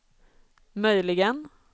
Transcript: möjligen